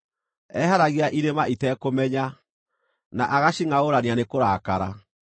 Eeheragia irĩma itekũmenya, na agacingʼaũrania nĩ kũrakara.